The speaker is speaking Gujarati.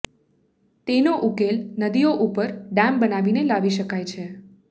તેનો ઉકેલ નદીઓ ઉપર ડેમ બનાવીને લાવી શકાય છે